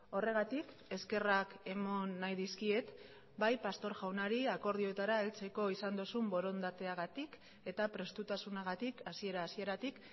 horregatik eskerrak eman nahi dizkiet bai pastor jaunari akordioetara heltzeko izan duzun borondateagatik eta prestutasunagatik hasiera hasieratik